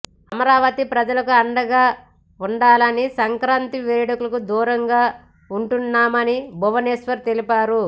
అమరావతి ప్రజలకు అండగా ఉండాలని సంక్రాంతి వేడుకలకు దూరంగా ఉంటున్నామని భువనేశ్వర్ తెలిపారు